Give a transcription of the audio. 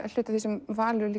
hluti af því sem Valur er